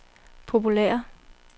populære